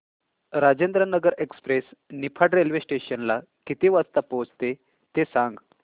Rajendranagar express Niphad railway station ला किती वाजता पोहचते ते सांग